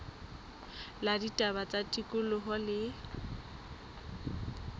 la ditaba tsa tikoloho le